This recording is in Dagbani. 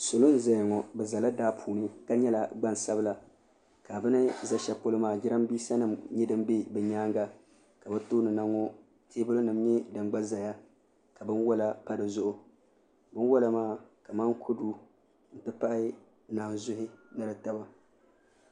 Salo n ʒɛya ŋo bi ʒɛla daa puuni ka nyɛla gbansabila ka bi ni ʒɛ shɛli polo maa jiranbiisa nim nyɛ din bɛ bi nyaanga ka bi tooni na ŋo teebulu nim nyɛ din ʒɛya ka Binwola pa dizuɣu binwola maa kamani kodu n ti pahi naanzuhi ni di taba